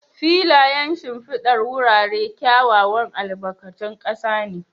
Filayen shimfidar wurare kyawawan albarkatun ƙasa ne.